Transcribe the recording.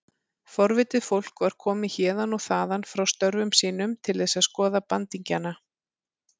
Forvitið fólk var komið héðan og þaðan frá störfum sínum til þess að skoða bandingjana.